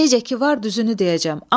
Necə ki var, düzünü deyəcəm.